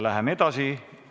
Läheme edasi.